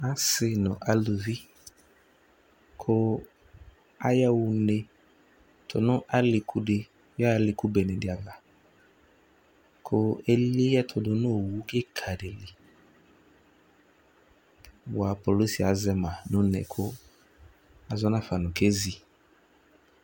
Asɩ nʋ aluvi kʋ ayaɣa une tʋ nʋ alɩku dɩ yaɣa alɩku bene dɩ ava kʋ eli ɛtʋ dʋ nʋ owu kɩka dɩ li bʋa kpolusi azɛ ma nʋ une kʋ azɔ nafa nʋ kezi